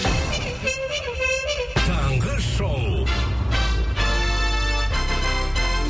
таңғы шоу